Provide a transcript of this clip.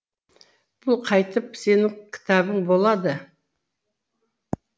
бұл қайтып сенің кітабың болады